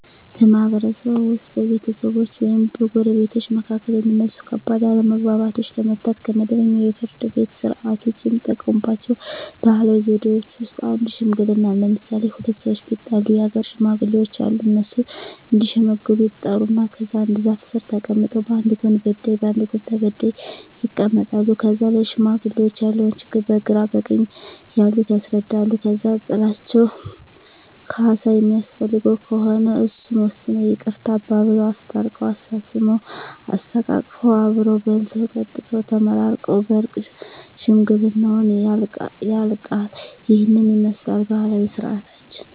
በማህበረሰብዎ ውስጥ በቤተሰቦች ወይም በጎረቤቶች መካከል የሚነሱ ከባድ አለመግባባቶችን ለመፍታት (ከመደበኛው የፍርድ ቤት ሥርዓት ውጪ) የሚጠቀሙባቸው ባህላዊ ዘዴዎች ውስጥ አንዱ ሽምግልና ነው። ለምሣሌ፦ ሁለት ሠዎች ቢጣሉ የአገር ሽማግሌዎች አሉ። እነሱ እዲሸመግሉ ይጠሩና ከዛ አንድ ዛፍ ስር ተቀምጠው በአንድ ጎን በዳይ በአንድ ጎን ተበዳይ ይቀመጣሉ። ከዛ ለሽማግሌዎች ያለውን ችግር በግራ በቀኝ ያሉት ያስረዳሉ። ከዛ ጥላቸው ካሣ የሚያስፈልገው ከሆነ እሱን ወስነው ይቅርታ አባብለው። አስታርቀው፤ አሳስመው፤ አሰተቃቅፈው አብረው በልተው ጠጥተው ተመራርቀው በእርቅ ሽምግልናው ያልቃ። ይህንን ይመስላል ባህላዊ ስርዓታችን።